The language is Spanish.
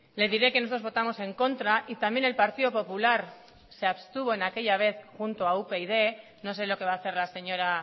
le diré que nosotros votamos en contra y también el partido popular se abstuvo en aquella vez junto a upyd no sé lo que va a hacer la señora